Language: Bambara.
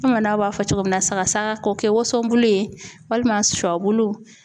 Bamanaw b'a fɔ cogo min na sagasaga ko kɛ wosonbulu ye walima sɔbulu